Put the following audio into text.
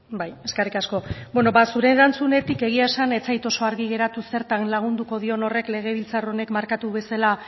bai eskerrik asko beno ba zure erantzunetik egia esan ez zait oso argi geratu zertan lagunduko dion horrek legebiltzar honek markatu bezala